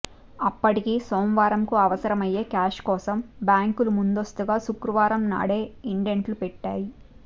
అప్పటికి సోమవారం కు అవసరమయ్యే క్యాష్ కోసం బ్యాంకులు ముందస్తుగా శుక్రవారం నాడే ఇండెంట్లు పెట్టాయి